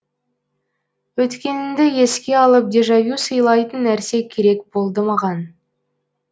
өткеніңді еске алып дежавю сыйлайтын нәрсе керек болды маған